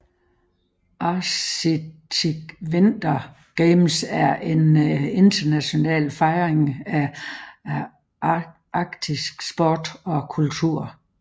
Arctic Winter Games er en international fejring af arktisk sport og kultur